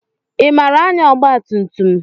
I maara anya ọgba tum tum?